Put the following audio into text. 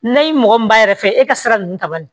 N'a ye mɔgɔ min ba yɛrɛ fɛ e ka sira ninnu ta banni